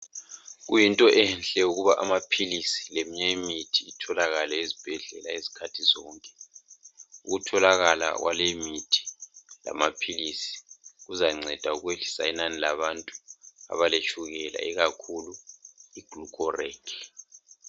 Kuyinto enhle ukuba amaphilisi leminye imithi kutholakale ezibhendlela ngesikhathi sonke. Ukutholakala kwaleyi imithi lamaphilisi kuzanceda ukwehlisa inani labantu abaletshukela ikakhulu i glucorake